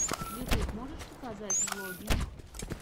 ютуб можешь показать влоги